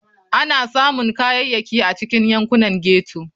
Ana samun Kayayyaki a cikin yankunan ghetto.